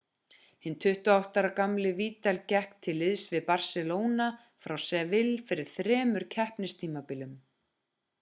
hinn 28 ára gamli vidal gekk til liðs við barcelona frá sevilla fyrir þremur keppnistímabilum